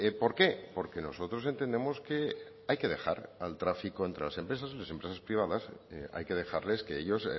por qué porque nosotros entendemos que hay que dejar al tráfico entre las empresas y las empresas privadas hay que dejarles que ellos